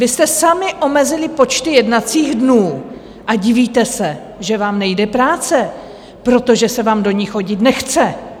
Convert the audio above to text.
Vy jste sami omezili počty jednacích dnů a divíte se, že vám nejde práce, protože se vám do ní chodit nechce!